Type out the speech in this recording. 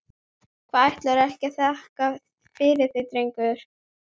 Hvað, ætlarðu ekki að þakka fyrir þig drengur?